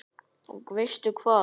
Og veistu hvað?